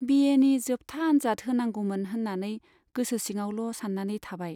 बिएनि जोबथा आन्जाद होनांगौमोन होन्नानै गोसो सिङावल' सान्नानै थाबाय।